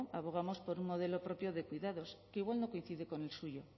abogamos por un modelo propio de cuidados que igual no coincide con el suyo